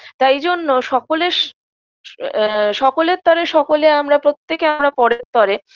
তাইজন্য সকলেস অ্যা সকলের তরে সকলে আমরা প্রত্যেককে আমরা পরের তরে